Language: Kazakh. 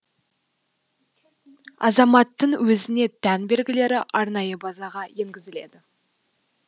азаматтың өзіне тән белгілері арнайы базаға енгізіледі